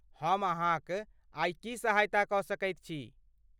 हम अहाँकआई की सहायता कऽ सकैत छी?